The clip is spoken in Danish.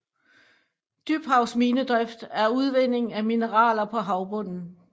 Dybhavsminedrift er udvinding af mineraler på havbunden